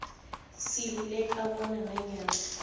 seluleka bona nanyana